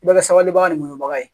I bɛ kɛ sabalibaga ni muɲubaga ye